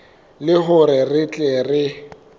le hore re tle re